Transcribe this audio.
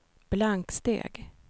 blanksteg